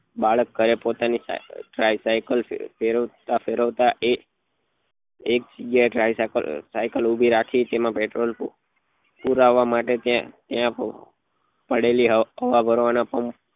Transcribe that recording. બાળક ઘરે પોતાની cycle ફેરવતા ફેરવતા એ એક જગ્યા એ cycle ઉભી રાખી તેમાં petrol માટે ત્યાં ત્યાં પડેલા હવા હવા ભરવા ના પંપ